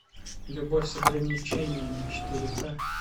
любовь с ограничениями четыре ка